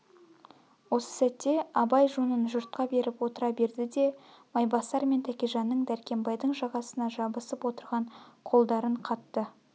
осы сәтте абай жонын жұртқа беріп отыра берді де майбасар мен тәкежанның дәркембайдың жағасына жабысып отырған қолдарын қатты